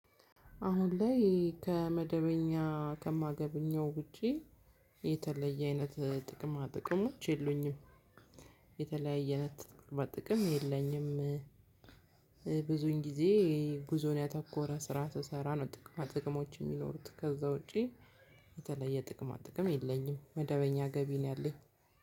አሁን ላይ ከመደበኛ ከማገኘው ውጪ የተለየ አይነት ጥቅማ ጥቅሞች የሉኝም የተለያየ አይነት ጥቅማ ጥቅም የለኝም። ብዙውን ጊዜ ጉዞን ያተኮረ ስራ ስሰራ ነው ጥቅማ ጥቅሞች እሚኖሩት ከዛ ውጪ የተለየ ጥቅማ ጥቅም የለኝም። መደበኛ ገቢ ነው ያለኝ።